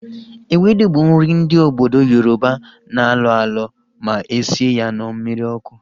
Ewedu bụ nri ndị obodo Yoroba na-alọ alọ ma esie ya na mmiri ọkụ